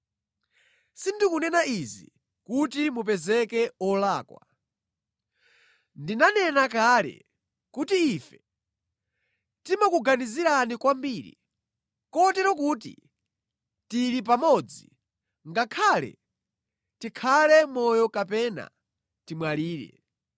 Sindikunena izi kuti mupezeke olakwa. Ndinanena kale kuti ife timakuganizirani kwambiri kotero kuti tili pamodzi, ngakhale tikhale moyo kapena timwalire.